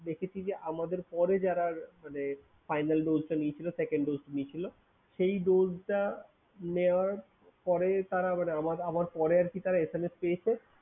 দেখেছি যে আমাদের পরে যারা মানে final dose টা নিয়েছিল second dose নিয়েছিল, সেই dose টা নেওয়ার পরে তারা মানে আমার আমার পরে আরকি তারা SMS পেয়েছে।